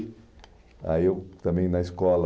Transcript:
Aí eu também na escola...